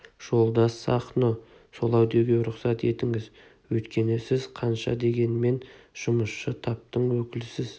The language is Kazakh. жолдас сахно солай деуге рұқсат етіңіз өйткені сіз қанша дегенмен жұмысшы таптың өкілісіз